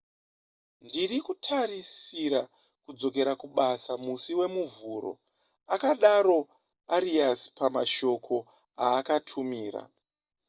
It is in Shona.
ndiri kutarisira kudzokera kubasa musi wemuvhuro akadaro arias pamashoko aakatumira